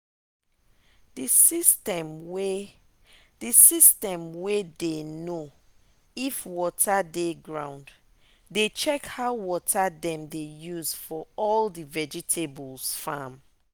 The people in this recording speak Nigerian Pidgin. the system way the system way dey know if water dey ground dey check how water dem they use for all the vegetables farm.